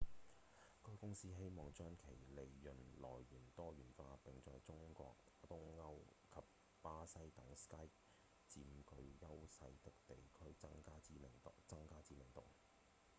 該公司希望將其利潤來源多元化並在中國、東歐及巴西等 skype 佔據優勢的地區增加知名度